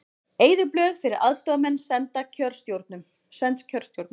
Eyðublöð fyrir aðstoðarmenn send kjörstjórnum